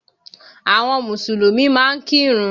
Àwọn Mùsùlùmí máa ń kírun